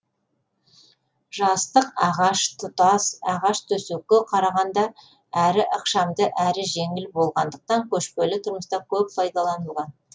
жастық ағаш тұтас ағаш төсекке қарағанда әрі ықшамды әрі жеңіл болғандықтан көшпелі тұрмыста көп пайдаланылған